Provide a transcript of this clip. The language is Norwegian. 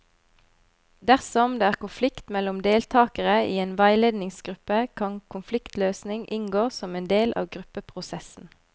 Dersom det er konflikt mellom deltakere i en veiledningsgruppe, kan konfliktløsning inngå som en del av gruppeprosessen.